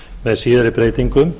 með síðari breytingum